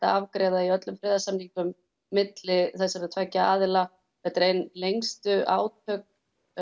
afgreiða í öllum friðarsamningum milli þessara tveggja aðila þetta eru ein lengstu átök